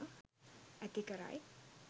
ඇති කරයි.